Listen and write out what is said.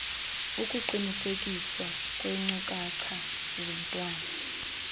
ukuqinisekiswa kweenkcukacha zomntwana